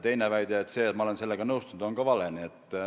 Teine väide – see, et ma olen sellega nõustunud – on ka vale.